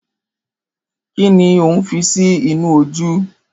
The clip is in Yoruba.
Kín ni òún fi sí inú ojú?